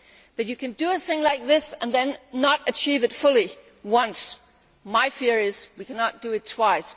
But only once can you do a thing like this and then not achieve it fully. My fear is we cannot do it twice.